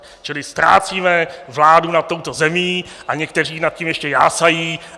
Čili ztrácíme vládu nad touto zemí a někteří nad tím ještě jásají.